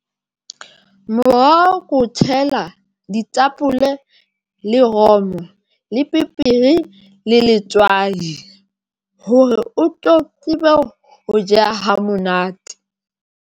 Moroho ke o tshela ditapole le romo le peperi le letswai hore o tlo tsebe ho jeha ha monate.